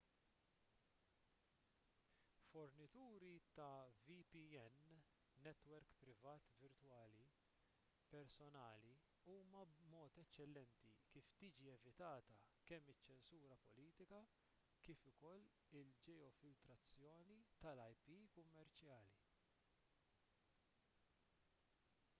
fornituri ta’ vpn netwerk privat virtwali personali huma mod eċċellenti kif tiġi evitata kemm iċ-ċensura politika kif ukoll il-ġeofiltrazzjoni tal-ip kummerċjali